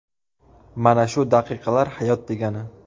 Mana shu daqiqalar hayot degani!